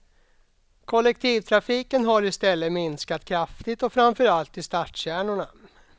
Kollektivtrafiken har istället minskat kraftigt och framför allt i stadskärnorna.